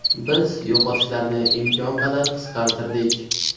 Biz yo‘qotishlarni imkon qadar qisqartirdik.